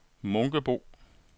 Munkebo